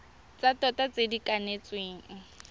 tsa tota tse di kanetsweng